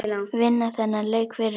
Vinna þennan leik fyrir hann!